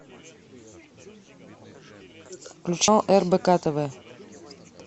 включи рбк тв